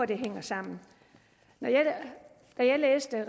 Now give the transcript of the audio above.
det hænger sammen da jeg læste